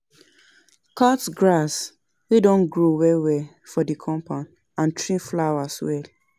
Cut grass wey don grow well well for di compound and trim flowers well